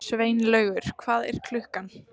Sveinlaugur, hvað er klukkan?